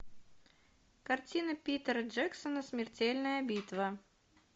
картина питера джексона смертельная битва